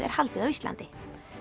er haldið á Íslandi